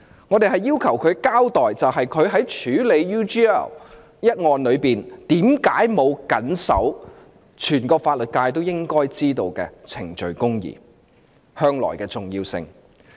我們要求她交代她處理 UGL 一案時，為何沒有謹守全個法律界也應知道的程序公義。